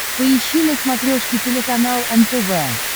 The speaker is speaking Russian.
поищи на смотрешке телеканал нтв